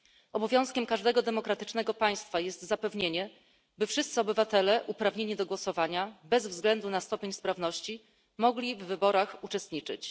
Obowiązkiem każdego demokratycznego państwa jest zapewnienie, by wszyscy obywatele uprawnieni do głosowania, bez względu na stopień sprawności, mogli w wyborach uczestniczyć.